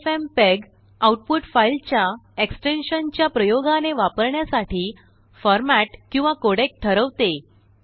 FFmpeg output फाइलच्याएक्सटेंशनच्याप्रयोगाने वापरण्यासाठीफॉर्मेट किंवाकोडेक ठरवते